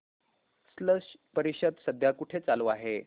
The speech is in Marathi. स्लश परिषद सध्या कुठे चालू आहे